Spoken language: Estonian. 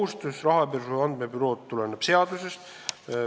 See rahapesu andmebüroo kohustus tuleneb seadusest.